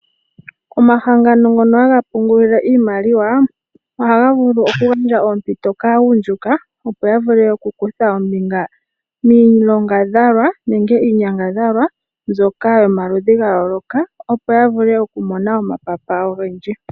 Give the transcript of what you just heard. Omahangano ngono haga pungula iimaliwa ohaga vulu okugandja oompito kaagundjuka opo ya vule okukutha ombinga miinyangadhalwa mbyoka yomaludhi gayooloka opo yavule okumona omapapa ogendji.